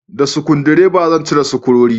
Da sukudireba zan cire sukurori